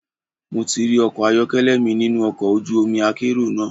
Mo ti rí ọkọ̀ ayọ́kẹ́lẹ́ mi nínú ọkọ̀ ojú omi akérò náà.